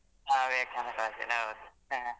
ಹ Vivekananda college ಅಲ್ಲಿ ಹೌದು ಹ.